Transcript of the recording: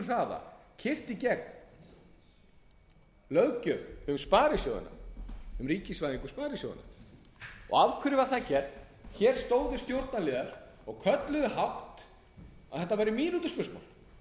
keyrð í gegn löggjöf um ríkisvæðingu sparisjóðanna af hverju var það gert hér stóðu stjórnarliðar og kölluðu hátt að þetta væri mínútuspursmál mínútuspursmál fyrir sparisjóðina